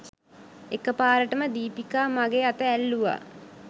එකපාරටම දීපිකා මගෙ අත ඇල්ලුවා